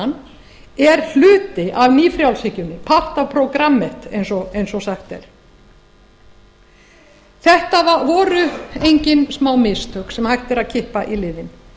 afskiptaleysisstefnan er hluti af ný frjálshyggjunni partaprogrammet eins og sagt er þetta voru engin smámistök sem hægt er að kippa í liðinn